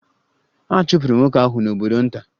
A chụpụrụ nwoke ahụ n'obodo nta.